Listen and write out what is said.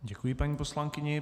Děkuji paní poslankyni.